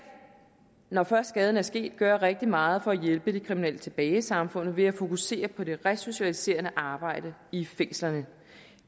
når først skaden er sket gøre rigtig meget for at hjælpe de kriminelle tilbage i samfundet ved at fokusere på det resocialiserende arbejde i fængslerne